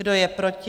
Kdo je proti?